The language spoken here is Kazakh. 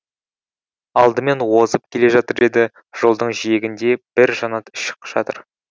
алдымен озып келе жатыр еді жолдың жиегінде бір жанат ішік жатыр